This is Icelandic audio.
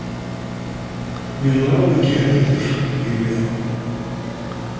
Mér lá ekki heldur lífið á.